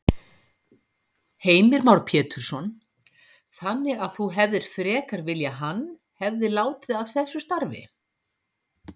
Heimir Már Pétursson: Þannig að þú hefðir frekar viljað hann, hefði látið af þessu starfi?